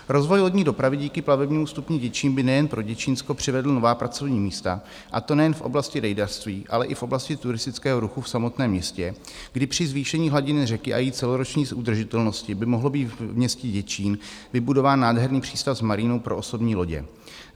Rozvoj lodní dopravy díky plavebnímu stupni Děčín by nejen pro Děčínsko přivedl nová pracovní místa, a to nejen v oblasti rejdařství, ale i v oblasti turistického ruchu v samotném městě, kdy při zvýšení hladiny řeky a její celoroční udržitelnosti by mohl být v městě Děčín vybudován nádherný přístav s marínou pro osobní lodě.